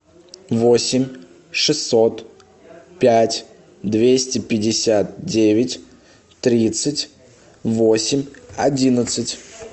восемь шестьсот пять двести пятьдесят девять тридцать восемь одиннадцать